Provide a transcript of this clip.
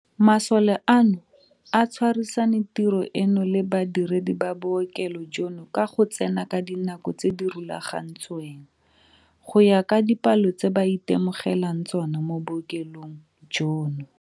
Masole ano a tshwarisane tiro eno le badiredi ba bookelong jono ka go tsena ka dinako tse di rulagantsweng, go ya ka dipalo tse ba itemogelang tsona mo bookelong jono.